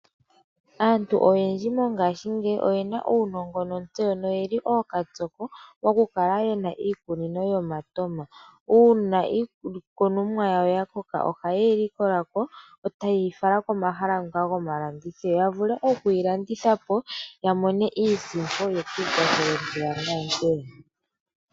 Aantu oyendji mongashingeyi oyena uunongo nontseyo noyeli ookatsoko mokukala yena iikunino yomatoma. Uuna iikunomwa yawo yakoka ohaye yi likola ko etaye yi fala komahala ngoka gomalandithilo, yavule okuyi landitha po yamone iisimpo yekiikwathele mpeya naampeya.